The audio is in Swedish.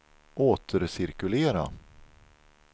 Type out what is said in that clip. återcirkulera